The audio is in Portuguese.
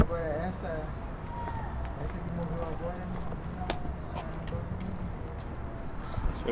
Agora, essa que morreu agora, nossa senhora, não gosto nem de me lembrar.